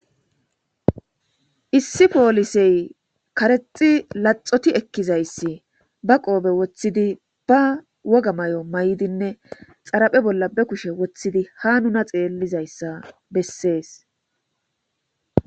issi poolisey karexi laxoti ekkizayssi ba qoobe woththidi ba woga may7o may7dinne xaraphe bolla be kushe woththidi ha nuna xeellizayssa bessees